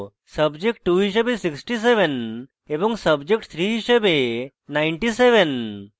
subject 2 হিসাবে 67 এবং subject 3 হিসাবে 97